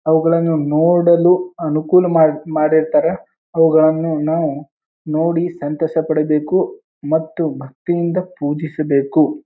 ಅವುಗಳನ್ನು ನೋಡಲು ಅನುಕೂಲ ಮಾಡ್ ಮಾಡಿರುತ್ತಾರ. ಅವುಗಳನ್ನು ನಾವು ನೋಡಿ ಸಂತೋಷ ಪಡಬೇಕು ಮತ್ತು ಭಕ್ತಿ ಇಂದ ಪೂಜಿಸಬೇಕು.